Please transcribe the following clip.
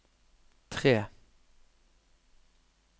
tre